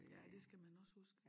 Ja det skal man også huske